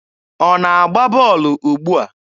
Ọ na-agba bọọlụ ugbua?